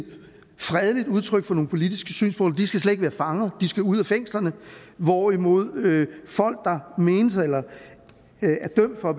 udtryk for nogle politiske synspunkter skal slet ikke være fanger de skal ud af fængslerne hvorimod folk der er dømt for at